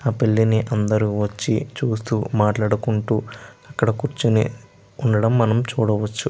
ఆ పెళ్లిని అందరు వచ్చి చూస్తూ మాట్లాడుకుంటూ అక్కడ కూర్చొని ఉండడం మనం చూడవచ్చు.